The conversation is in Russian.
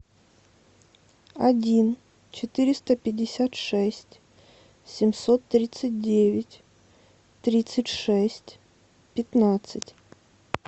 один четыреста пятьдесят шесть семьсот тридцать девять тридцать шесть пятнадцать